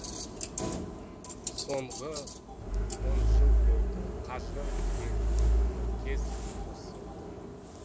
соңғы он жыл болды қажы деген тіркес қосылды